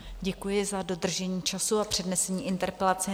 Děkuji za dodržení času a přednesení interpelace.